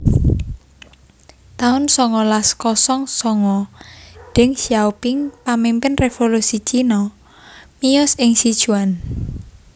taun songolas kosong songo Deng Xiaoping pamimpin révolusi Cina miyos ing Sichuan